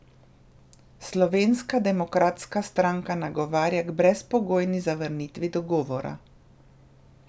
Slovenska demokratska stranka nagovarja k brezpogojni zavrnitvi dogovora.